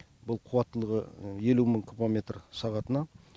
бұл қуаттылығы елу мың куба метр сағатына